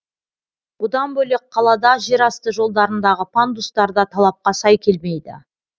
бұдан бөлек қалада жерасты жолдарындағы пандустар да талапқа сай келмейді